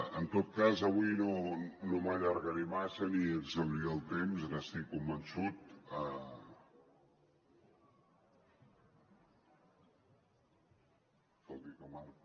en tot cas avui no m’allargaré massa ni exhauriré el temps n’estic convençut tot i que marca